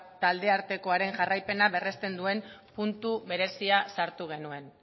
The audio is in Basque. taldeartekoaren jarraipena berresten duen puntu berezia sartu genuen